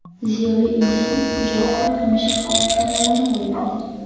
Ziyoli inson, ijodkor hamisha xalq kamolini o‘ylaydi.